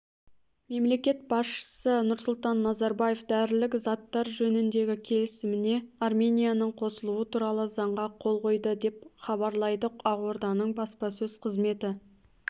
мемлекет басшысы нұрсұлтан назарбаев дәрілік заттар жөніндегі келісіміне арменияның қосылуы туралы заңға қол қойды деп хабарлайды ақорданың баспасөз қызметі